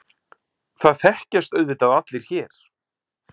Það þekkjast auðvitað allir hér.